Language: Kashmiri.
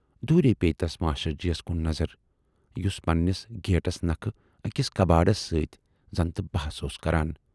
دوٗرِی پییہِ تَس ماشٹر جی یَس کُن نظر، یُس پَنہٕ نِس گیٹس نَکھٕ ٲکِس کبٲڑِس سۭتۍ زَنتہٕ بحث اوس کَران۔